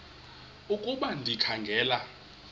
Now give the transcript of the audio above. ukuba ndikha ngela